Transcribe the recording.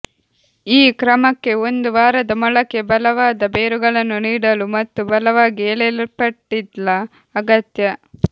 ಈ ಕ್ರಮಕ್ಕೆ ಒಂದು ವಾರದ ಮೊಳಕೆ ಬಲವಾದ ಬೇರುಗಳನ್ನು ನೀಡಲು ಮತ್ತು ಬಲವಾಗಿ ಎಳೆಯಲ್ಪಟ್ಟಿಲ್ಲ ಅಗತ್ಯ